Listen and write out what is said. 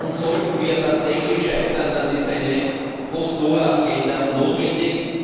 Und sollten wir tatsächlich scheitern, dann ist eine Post Doha Agenda notwendig.